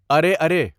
ارے ارے